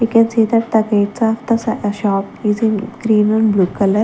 i can see that the gates of the s-shop is in cream and blue colour.